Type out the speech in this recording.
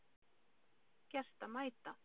Gert að mæta